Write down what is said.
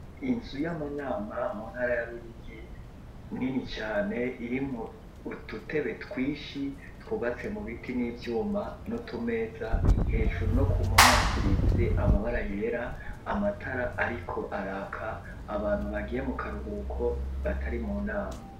Inzu y'amanama mu ntara ya Ruyigi nini cane irimo ututebe twishi twubatse mu biti n'ivyuma no tumeza hejuru no ku mpama yasize amabara yera amatara ariko araka abantu bagiye mu karuhuko batari mu nama.